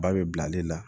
Ba bɛ bila ale la